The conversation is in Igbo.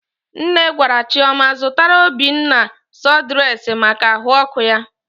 Nne gwara Chioma zụtara Obinna sụdụres maka ahụ ọkụ ya.